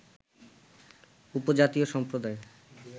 উপজাতি সম্প্রদায়